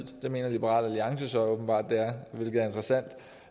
mener liberal alliance åbenbart